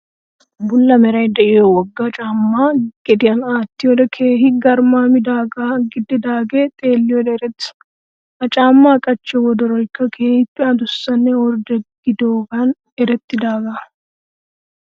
Bulla meray de'iyoo wogga caamaa gediyaan aattiyoodee keehi garmaamidaagaa gidanaagee xelliyoode erettees. Ha caamaa qachchiyoo wodoroykka keehiippe adussanne ordde gidiyoogan eretidaagaa